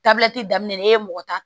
Tabiyati daminɛ n'e ye mɔgɔ ta